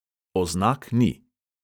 Oznak ni.